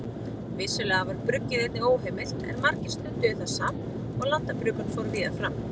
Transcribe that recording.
Vissulega var bruggið einnig óheimilt en margir stunduðu það samt og landabruggun fór víða fram.